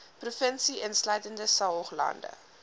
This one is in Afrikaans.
provinsie insluitende saoglande